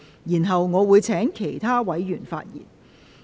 然後，我會請其他委員發言。